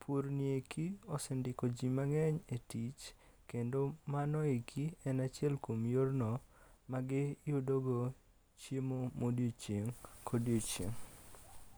purni eki osendiko ji mang'eny e tich kendo mano eki en achiel kuom yorno magiyudogo chiemo ma odiochieng' ka odiochieng'.